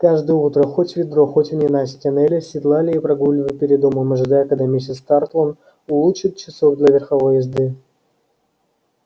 каждое утро хоть в ведро хоть в ненастье нелли седлали и прогуливали перед домом ожидая когда миссис тарлтон улучит часок для верховой езды